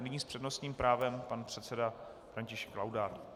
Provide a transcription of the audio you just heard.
Nyní s přednostním právem pan předseda František Laudát.